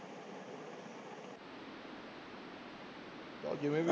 ਚੱਲ ਜਿਵੇੇਂ ਵੀ